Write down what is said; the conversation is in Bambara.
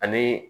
Ani